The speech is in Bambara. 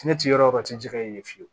Ne ti yɔrɔ o yɔrɔ tɛ jɛgɛ ye fiyewu